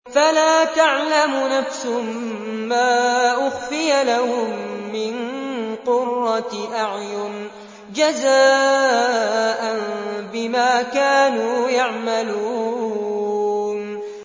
فَلَا تَعْلَمُ نَفْسٌ مَّا أُخْفِيَ لَهُم مِّن قُرَّةِ أَعْيُنٍ جَزَاءً بِمَا كَانُوا يَعْمَلُونَ